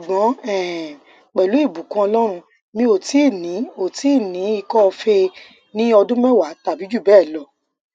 ṣugbọn um pelu ibukun ọlọrun mi o ti ni o ti ni ikọfèé ni ọdun mẹwa tabi ju bẹẹ lọ